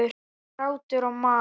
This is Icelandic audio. Grátur og mar.